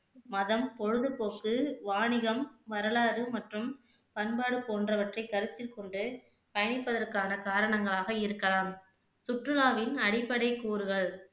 மதம், பொழுதுபோக்கு, வாணிகம், வரலாறு மற்றும் பண்பாடு போன்றவற்றை கருத்தில் கொண்டு பயணிப்பதற்கான காரணங்களாக இருக்கலாம் சுற்றுலாவின் அடிப்படை கூறுகள்